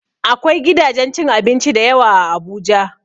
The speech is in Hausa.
Akwai gidajen cin abinci da yawa a Abuja.